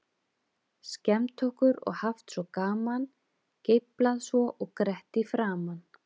Skemmt okkur og haft svo gaman, geiflað svo og grett í framan.